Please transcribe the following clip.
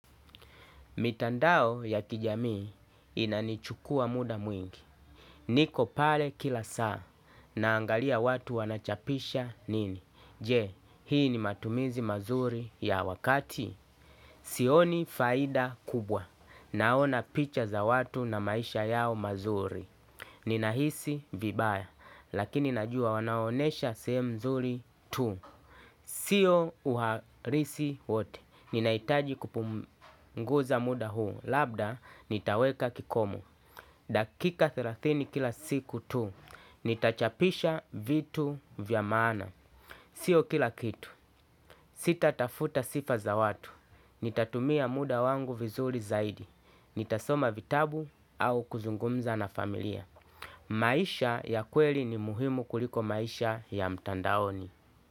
Mitandao ya kijamii inanichukua muda mwingi. Niko pale kila saa. Naangalia watu wanachapisha nini. Je, hii ni matumizi mazuri ya wakati? Sioni faida kubwa. Naona picha za watu na maisha yao mazuri. Ninahisi vibaya. Lakini najua wanawaonesha sehemu nzuri tu. Sio uharisi wote. Ninahitaji kupunguza muda huu. Labda nitaweka kikomo, dakika thelathini kila siku tu. Nitachapisha vitu vya maana, sio kila kitu. Sitatafuta sifa za watu. Nitatumia muda wangu vizuri zaidi. Nitasoma vitabu au kuzungumza na familia. Maisha ya kweli ni muhimu kuliko maisha ya mtandaoni.